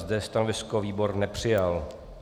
Zde stanovisko výbor nepřijal.